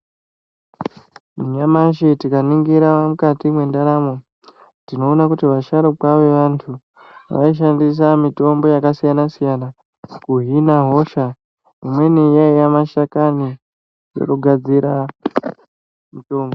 Nyamashi tikaningira mukati mwendaramo tinoona kuti vasharukwa vevantu vaishandisa mitombo yakasiyana -siyana kuhina hosha imweni yaiya mashakani yekugadzira mitombo.